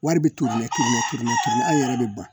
Wari bɛ turu mɛ ture an yɛrɛ bɛ ban